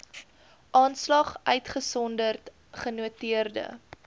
aanslag uitgesonderd genoteerde